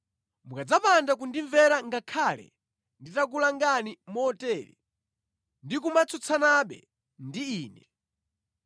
“ ‘Mukadzapanda kundimvera ngakhale nditakulangani motere, ndi kumatsutsanabe ndi Ine,